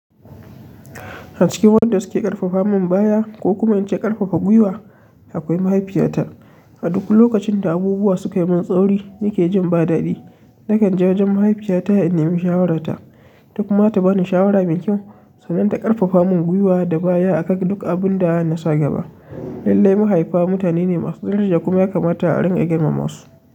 A cikin wanda suke ƙarfafa min baya ko kuma in ce ƙarfafa gwiwa, akwai mahaifiyata. A duk lokacin da abubuwa sukai mun tsauri nake jin ba daɗi nakan je wajen mahaifiyata a in nemi shawararta. Ita kuma zata bani shawara mai kyau, sannan ta ƙarfafa mun gwiwa da baya a kan duk abun da na sa gaba. Lallai mahaifa mutane ne masu daraja kuma ya kamata a rinƙa girmama su.